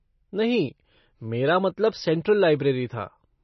नहीं मेरा मतलब सेंट्रल लाइब्रेरी था।